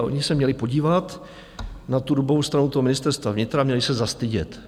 A oni se měli podívat na tu rubovou stranu toho ministerstva vnitra, měli se zastydět.